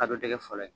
A dɔ dɛgɛ fɔlɔ ye